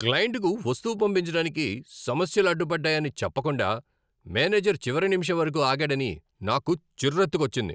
క్లయింట్కు వస్తువు పంపించడానికి సమస్యలు అడ్డుపడ్డాయని చెప్పకుండా మేనేజర్ చివరి నిమిషం వరకు ఆగాడని నాకు చిరెత్తుకొచ్చింది.